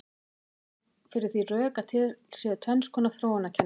Færa má fyrir því rök að til séu tvenns konar þróunarkenningar.